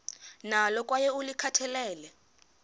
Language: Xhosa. nalo kwaye ulikhathalele